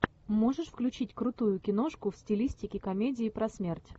можешь включить крутую киношку в стилистике комедии про смерть